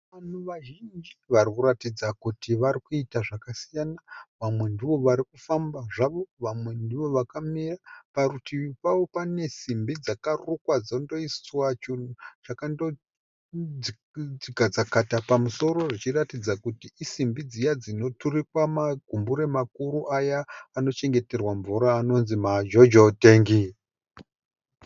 Vanhu vazhinji vari kuratidza kuti vari kuita zvakasiyana vamwe ndivo vari kufamba zvavo vamwe ndivo vakamira. Parutivi pavo pane simbi dzakarukwa dzondoiswa chinhu chakandoti dzakata pamusoro zvichiratidza kuti isimbi dziya dzinoturikwa magumbure makuru aya anochengeterwa mvura anonzi majojo tengi.